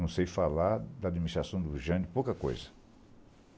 Não sei falar da administração do Jânio, pouca coisa.